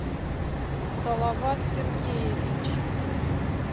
салават сергеевич